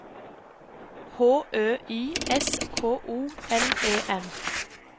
H Ø Y S K O L E N